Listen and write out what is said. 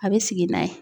A bɛ sigi n'a ye